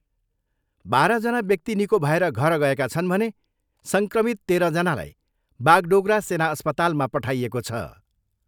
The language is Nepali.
बाह्रजना व्यक्ति निको भएर घर गएका छन् भने सङ्क्रमित तेह्रजनालाई बागडोगरा सेना अस्पतालमा पठाइएको छ।